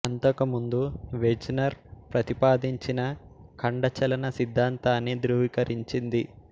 అంతకుముందు Wegener ప్రతిపాదించిన ఖండ చలన సిద్ధాంతాన్ని ధ్రువీకరించింది